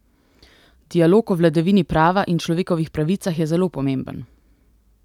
Dialog o vladavini prava in človekovih pravicah je zelo pomemben.